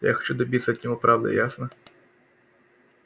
я хочу добиться от него правды ясно